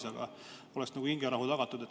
Sedasi oleks nagu hingerahu tagatud.